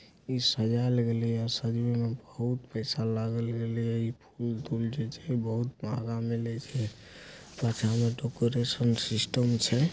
ई सजाल गलिया सजबे मे बहोत पेसा लगल गलिया ये फूल दुल जो छे बहुत माहगा मलै छे पाछा मअ डोकोरेसन सिस्टम छे।